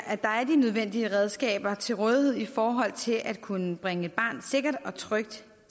at der er de nødvendige redskaber til rådighed i forhold til at kunne bringe et barn sikkert og trygt